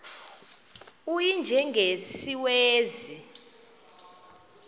u y njengesiwezi